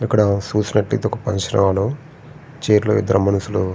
ఇక్కడా చూసినట్లయితే ఒక ఫంక్షన్ హాలు . చైర్ లో ఇద్దరు మనుషులు--